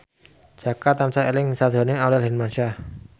Jaka tansah eling sakjroning Aurel Hermansyah